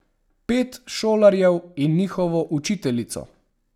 Pet šolarjev in njihovo učiteljico.